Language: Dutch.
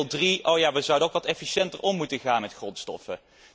En dan deel drie o ja, we zouden ook wat efficiënter moeten omgaan met grondstoffen.